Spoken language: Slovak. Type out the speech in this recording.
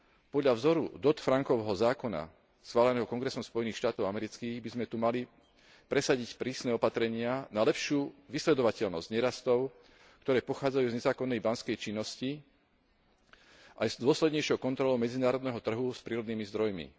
Podľa vzoru Dodd Frankovho zákona schváleného kongresom Spojených štátov amerických by sme tu mali presadiť prísne opatrenia na lepšiu vysledovateľnosť nerastov, ktoré pochádzajú z nezákonnej banskej činnosti, aj s dôslednejšou kontrolou medzinárodného trhu s prírodnými zdrojmi.